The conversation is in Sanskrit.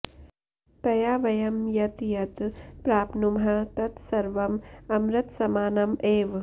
तया वयं यत् यत् प्राप्नुमः तत् सर्वम् अमृतसमानम् एव